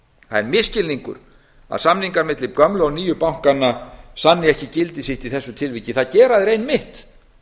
það er misskilningur að samningar milli gömlu og nýju bankanna sanni ekki gildi sitt í þessu tilviki það gera þeir einmitt